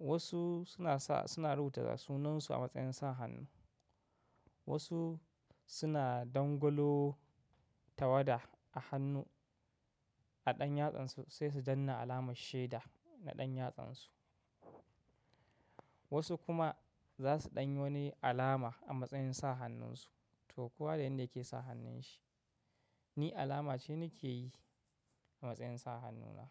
Wasu suna sa, suna rubuta sunansu a matsayin sa hannu. Wasu suna dangolo tawada a hannu a ɗan yatsansu sai su danna alamar shaida na ɗan yatsansu. Wasu kuma za su ɗanyo wani alama a matsayin sa hannunsu to kuwa da inda yake sa hannun shi. Ni alama ce ni ke yi a matsayin sa hannuna.